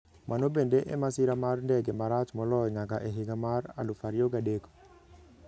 Mano bende e masira mar ndege marach moloyo nyaka a higa mar 2003.